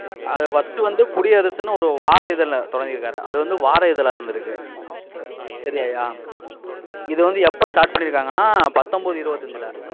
அது first வந்து, குடியரசுன்னு ஒரு வார இதழை தொடங்கிருக்காரு. அது வந்து, வார இதழா இருந்திருக்கு. சரியாயா? இது வந்து, எப்ப start பண்ணியிருக்காங்கன்னா, பத்தொன்பது, இருபத்தஞ்சுல.